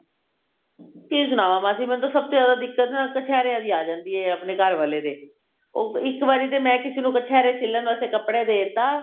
ਕੀ ਸ੍ਨਾਵਾਂ ਮਾਸੀ ਮੈਨੂੰ ਸਭ ਤੋਂ ਜਿਆਦਾ ਦਿੱਕਤ ਨਾ ਕਛੇਰਿਆਂ ਦੀ ਆ ਜਾਂਦੀ ਹੈ ਆਪਣੇ ਘਰਵਾਲੇ ਦੀ ਉਹ ਇੱਕ ਵਾਰੀ ਤੇ ਮੈਂ ਕਿਸੇ ਨੂੰ ਕਛੇਰੇ ਸਿਲਨ ਵਾਸਤੇ ਕੱਪੜਾ ਦੇਤਾ